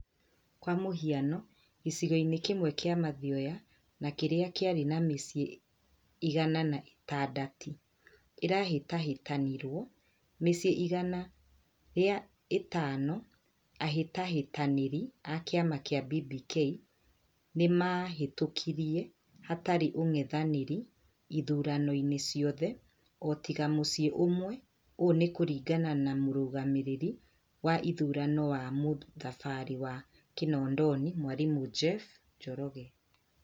Kwa mũhiano, gĩcigo-inĩ kĩmwe kĩa Mathioya na kĩria kĩari na mĩciĩ igana na ĩtandatĩ ĩrahĩtahĩtanĩrwo, mĩciĩ igana rĩa ĩtano ahĩtahĩtanĩri a kĩama gĩa BBK nĩmahĩtukire hatarĩ ũng'ethanĩri iturwa-inĩ ciothe, otiga mũciĩ ũmwe , ũũ nĩ kũringana na mũrũgamĩrĩri wa ithurano wa mũthubarĩ wa Kinondoni mwarimũ Jeff Njoroge